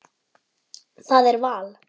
Það er val.